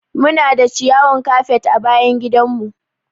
Muna da ciyawan kafet a bayan gidan mu.